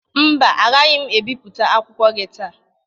Mba, agaghị ebiputa akwụkwọ gị taa.